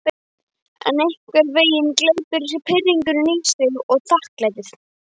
En einhvern veginn gleypir pirringurinn í sig þakklætið.